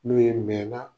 N'u ye mɛn na